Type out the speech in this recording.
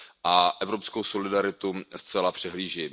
a evropskou solidaritu zcela přehlíží.